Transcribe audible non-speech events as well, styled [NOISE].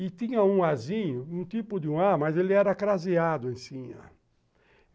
E tinha um Azinho, um tipo de um A, mas ele era craseado em. [UNINTELLIGIBLE]